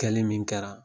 Kɛli min kɛra